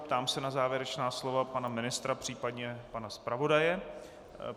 Ptám se na závěrečná slova pana ministra, případně pana zpravodaje.